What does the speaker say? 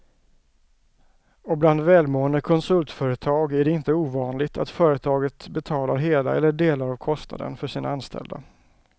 Och bland välmående konsultföretag är det inte ovanligt att företaget betalar hela eller delar av kostnaden för sina anställda.